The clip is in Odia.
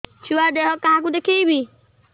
ଛୁଆ ଦେହ କାହାକୁ ଦେଖେଇବି